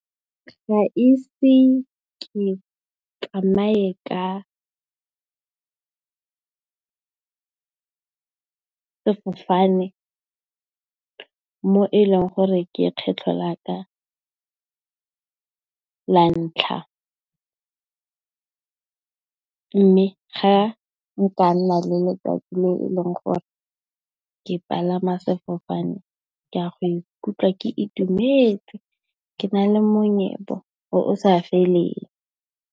Ga ise ke tsamaye ka sefofane mo e leng gore ke kgetlho la ka la ntlha. Mme, ga nka nna le letsatsi le e leng gore ke palama sefofane ke a go ikutlwa ke itumetse ke na le monyebo o sa feleng.